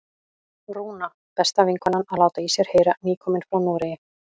Rúna, besta vinkonan, að láta í sér heyra, nýkomin frá Noregi!